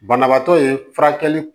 Banabaatɔ ye furakɛli